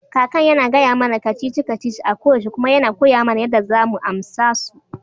Kakan yana gaya mana ka-cici-ka-cici a koyaushe kuma yana koya mana yadda za mu amsa su.